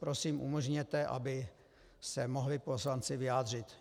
Prosím, umožněte, aby se mohli poslanci vyjádřit.